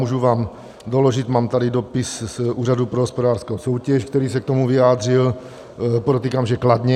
Můžu vám doložit, mám tady dopis z Úřadu pro hospodářskou soutěž, který se k tomu vyjádřil, podotýkám, že kladně.